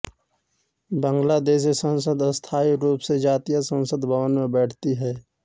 बांग्लादेशी संसद स्थाई रूप से जातीय संसद भवन में बैठती है